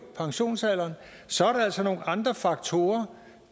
pensionsalderen så er der altså nogle andre faktorer